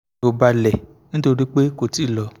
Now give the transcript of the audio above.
ọkàn mi o balẹ̀ nítorí pé kò tí ì lọ